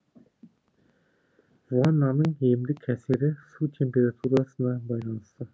ваннаның емдік әсері су температурасына байланысты